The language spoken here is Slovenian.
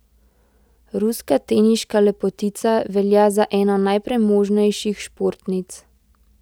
Ruska teniška lepotica velja za eno najpremožnejših športnic.